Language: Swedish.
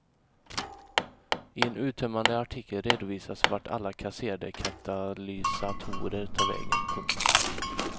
I en uttömmande artikel redovisas vart alla kasserade katalysatorer tar vägen. punkt